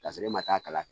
K'a sɔrɔ e ma taa a kala